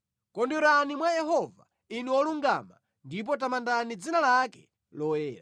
Kondwerani mwa Yehova Inu olungama ndipo tamandani dzina lake loyera.